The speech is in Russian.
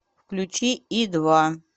включи и два